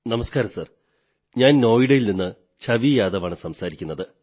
നമസ്കാരം സർ ഞാൻ നോയിഡയിൽ നിന്ന് ഛവി യാദവ് ആണു സംസാരിക്കുന്നത്